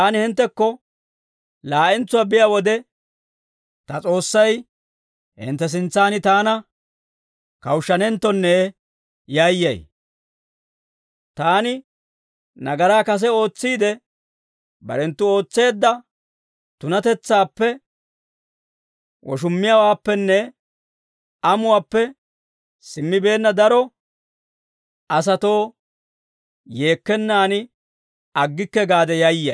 Taani hinttekko laa'entsuwaa biyaa wode, ta S'oossay hintte sintsan taana kawushshanenttonne yayyay; taani nagaraa kase ootsiide, barenttu ootseedda tunatetsaappe, woshummiyaawaappenne amuwaappe simmibeenna daro asatoo yeekkenaan aggikke gaade yayyay.